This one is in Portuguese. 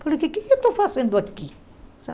Falei, o que é que eu estou fazendo aqui?